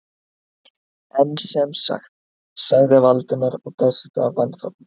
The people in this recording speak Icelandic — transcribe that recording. En sem sagt- sagði Valdimar og dæsti af vanþóknun.